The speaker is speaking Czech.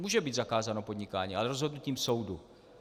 Může být zakázáno podnikání, ale rozhodnutím soudu.